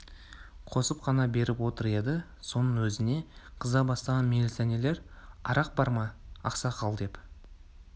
қосып қана беріп отыр еді соның өзіне қыза бастаған милиционерлер арақ бар ма ақсақал деп